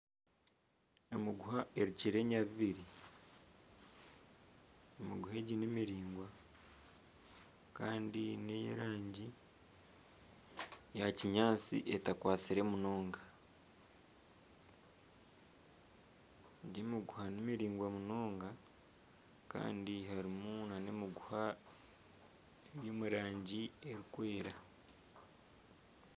Emiguha erukire enyabubiri, emiguha egi nimiraingwa nkeyerangi eya kinyaatsi etakwatsire munonga, egi emiguha ni miraingwa munonga kandi harimu nana emiguha eri omurangi erikwera